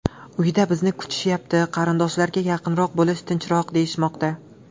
Uyda bizni kutishyapti, qarindoshlarga yaqinroq bo‘lish tinchroq, deyishmoqda.